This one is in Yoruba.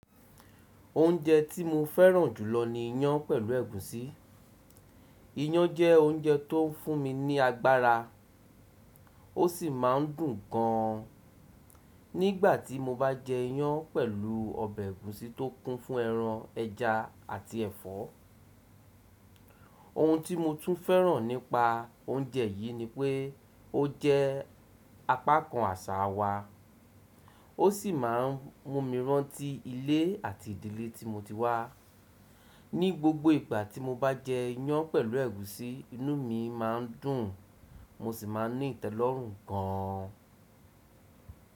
Oúnjẹ tí mo fẹ́ràn jùlọ ni iyán pẹ̀lú ẹ̀gúsí. Iyán jẹ́ oúnjẹ tó ń fún mi ní agbára ó sì máa ń dùn gan an. Nígbà tí mo bá jẹ iyán pẹ̀lú ọbẹ̀ ẹ̀gúsí tó kún fún ẹran, ẹja àti ẹ̀fọ́. Ohun tí mo tún fẹ́ràn nípa oúnjẹ yìí ni pé ó jẹ́ apákan àṣà wa, ó sì máa ń mú mi rántí ilé àti ìdílé tí mo ti wá. Ni gbogbo ìgbà tí mo bá jẹ iyán pẹ̀lú ẹ̀gúsí, inú mi má ń dùn, mo sì máa ní ìtẹ́lọ́rùn gan an.